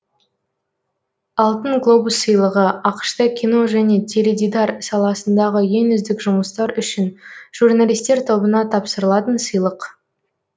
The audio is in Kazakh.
алтын глобус сыйлығы ақш та кино және теледидар саласындағы ең үздік жұмыстар үшін журналистер тобына тапсырылатын сыйлық